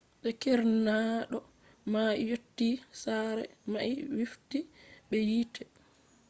de keerdinaado mai yotti sare mai wifti be yite